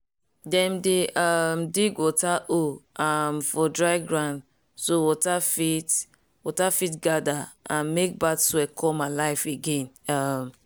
dem dey um dig water hole um for dry ground so water fit water fit gather and mek bad soil come alive again. um